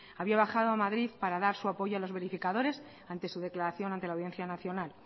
había bajado a madrid para dar su apoyo a los verificadores ante su declaración ante la audiencia nacional